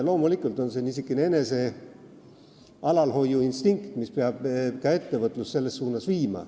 Loomulikult peaks niisugune enesealalhoiuinstinkt viima ka ettevõtlust selles suunas.